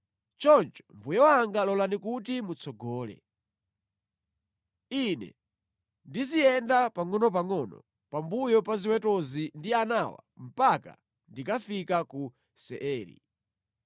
Choncho, mbuye wanga lolani kuti mutsogole. Ine ndiziyenda pangʼonopangʼono pambuyo pa ziwetozi ndi anawa mpaka ndikafika ku Seiri.”